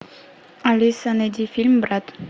алиса найди фильм брат